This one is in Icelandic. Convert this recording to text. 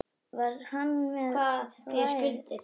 Var hann með sverð?